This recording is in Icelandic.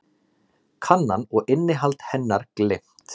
Kannan og innihald hennar gleymt.